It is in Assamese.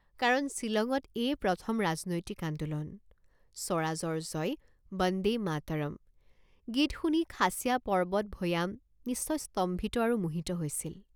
কাৰণ ছিলঙত এয়ে প্ৰথম ৰাজনৈতিক আন্দোলন। স্বৰাজৰ জয় বন্দে মাতৰম গীত শুনি খাচীয়া পৰ্বত ভৈয়াম নিশ্চয় স্তম্ভিত আৰু মোহিত হৈছিল।